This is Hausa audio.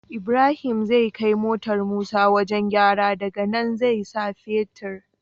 Ibrahim zai kai motar musa wajan gyara daka nan zai sa fetir